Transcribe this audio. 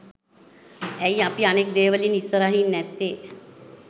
ඇයි අපි අනෙක් දේවලින් ඉස්සරහින් නැත්තෙ?